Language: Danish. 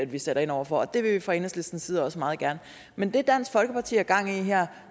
vi sætter ind over for og det vil vi fra enhedslistens side også meget gerne men det dansk folkeparti har gang i her